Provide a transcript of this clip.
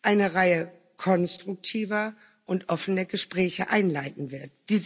eine Reihe konstruktiver und offener Gespräche einleiten wird.